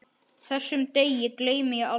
Þessum degi gleymi ég aldrei.